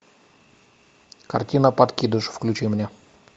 картина подкидыш включи мне